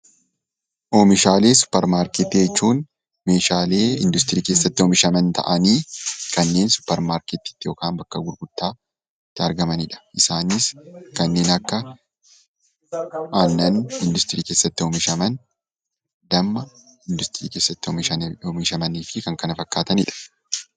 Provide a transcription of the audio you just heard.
Oomishalee supper maarkettii jechuun meeshaalee industirii keessatti oomishaman ta'anii kanneen supper maarkettiitti yookaan bakka gurgurtaatti argamanidha. Isaanis kanneen akka aannan industirii keessatti oomishaman, damma industirii keessatti oomishamanii fi kan kana fakkaatanidha.